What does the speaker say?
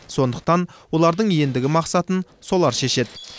сондықтан олардың ендігі мақсатын солар шешеді